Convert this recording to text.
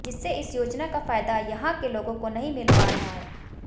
जिससे इस योजना का फायदा यहां के लोगों को नहीं मिल पा रहा है